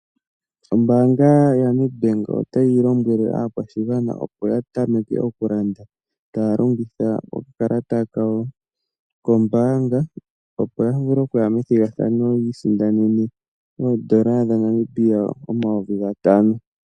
Oombaanga yaNetbank otayi lombwele aakwashigwana opo yatameke okulanda taya longitha okakalata kawo koombanga, opo ya vule okuya methigathano yiisindanene oN$5000.